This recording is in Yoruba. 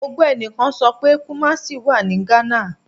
Mo gbọ ẹnikan sọ pe Kumasi wa ni Ghana